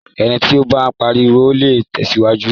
Ẹni tí o bá ń parọ́, ò le tẹ̀síwájú.